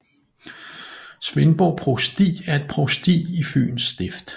Svendborg Provsti er et provsti i Fyens Stift